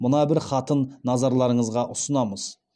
мына бір хатын назарларыңызға ұсынамыз